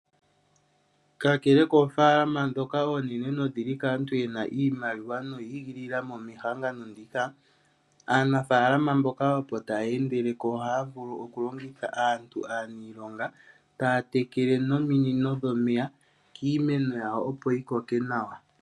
Kakele koofaalama ndhoka oonene nodhili kaantu yena iimaliwa noyi igilila mo mehangano ndika, aanafaalama mboka opo taya endeleko ohaya vulu oku longitha aantu, aaniilonga taya tekele nominino dhomeya kiimeno yawo, opo yi koke nawa.